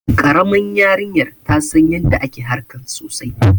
Karaman yarinyar ta San yanda ake harkan sosai.